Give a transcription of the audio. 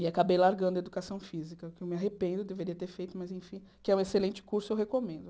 E acabei largando a educação física, que eu me arrependo, deveria ter feito, mas, enfim, que é um excelente curso, eu recomendo.